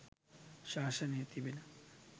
ශාසනයේ තිබෙන